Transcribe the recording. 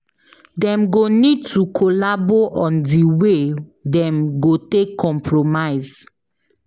Dem go need to collabo on di wey dem go take compromise